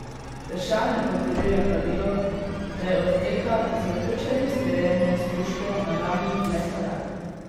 Tršan le potrjuje pravilo, da je od teka z vključenim streljanjem s puško na rami le korak.